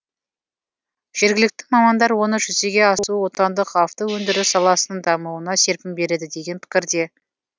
жергілікті мамандар оның жүзеге асуы отандық автоөндіріс саласының дамуына серпін береді деген пікірде